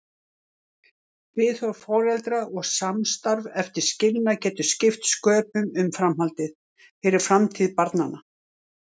Viðhorf foreldra og samstarf eftir skilnað getur skipt sköpum um framhaldið, fyrir framtíð barnanna.